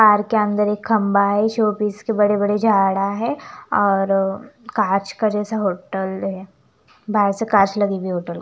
तार के अंदर एक खंभा है ये शो पीस के बड़े बड़े झाड़ा है और कांच का जैसा होटल है बाहर से कांच लगी हुई है होटल म--